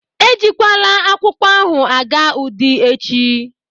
E jikwala akwụkwọ ahụ aga Udi echi.